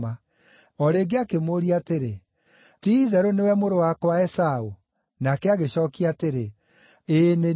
O rĩngĩ akĩmũũria atĩrĩ, “Ti-itherũ nĩwe mũrũ wakwa Esaũ?” Nake agĩcookia atĩrĩ, “Ĩĩ nĩ niĩ.”